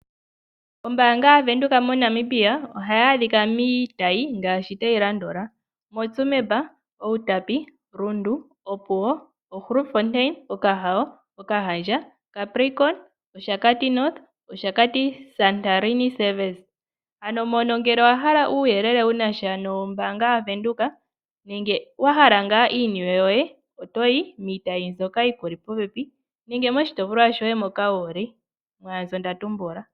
Ombaanga ya Venduka moNamibia ohayi adhika miitayi ngaashi tayi landula: Tsumeb, Outapi, Rundu, Opuwo, Grootfontein, Okahao, Okahandja, Capricorn, Oshakati North, Oshakati Santorini Service. Ano ngele owahala uuyelele wunasha nombaanga yaVenduka nenge wahala ngaa iiniwe yoye otoyi miitayi mbyoka yili popepi nange miitayi mbyoka wuhole.